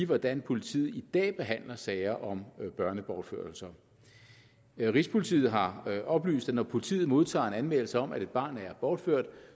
hvordan politiet i dag behandler sager om børnebortførelser rigspolitiet har oplyst at når politiet modtager en anmeldelse om at et barn er bortført